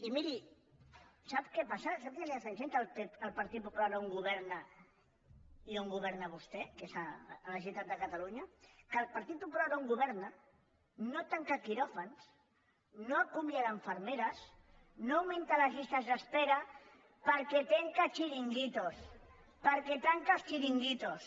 i miri sap què passa sap quina és la diferència entre el partit popular on governa i on governa vostè que és a la generalitat de catalunya que el partit popular on governa no tanca quiròfans no acomiada infermeres no augmenta les llistes d’espera perquè tanca xiringuitos perquè tanca els xiringuitos